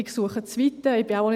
Ich suche das Weite.